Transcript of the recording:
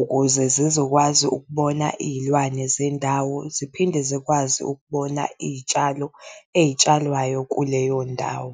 Ukuze zizokwazi ukubona, izilwane zendawo ziphinde zikwazi ukubona izitshalo ey'tshalwayo kuleyo ndawo.